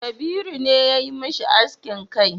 Kabiru ne ya yi mishi askin kai